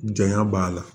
Janya b'a la